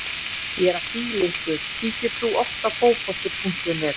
Ég er að fýla ykkur Kíkir þú oft á Fótbolti.net?